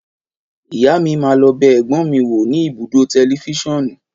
Ìyá mí má lọ bẹ ẹ̀gbọ́n mi wò ní ibùdó tẹlifiṣionu.